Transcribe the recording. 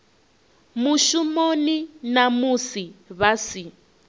mushumoni na musi vha si